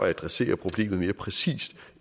at adressere problemet mere præcist